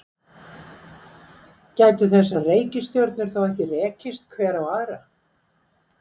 gætu þessar reikistjörnur þá ekki rekist hver á aðra